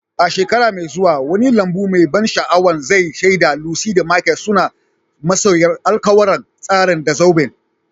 A shekara mai zuwa, wani lambu mai ban sha'awa za'a shaida Lucy da Michael suna musayar alƙawura, tare da zoben.